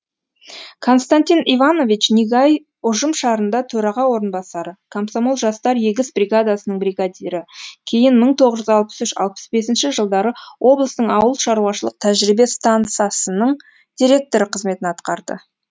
константин иванович нигай ұжымшарында төраға орынбасары комсомол жастар егіс бригадасының бригадирі кейін мың тоғыз жүз алпыс үш алпыс бесінші жылдары облыстың ауыл шаруашылық тәжірибе стансасының директоры қызметін атқарды